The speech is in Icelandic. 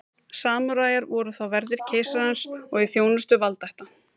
samúræjar voru þá verðir keisarans og í þjónustu valdaætta